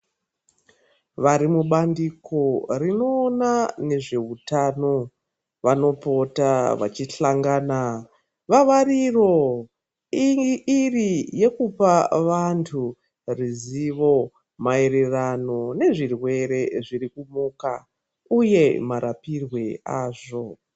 Varimubandiko rinoona nezvehutano vanopota vachihlangana. Vavariro iri yekupa vantu ruzivo maererano nezvirwere zvirikuboka, uye marapirwe azvo.